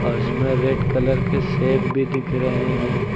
और इसमें red colour के सेब भी दिख रहे हैं।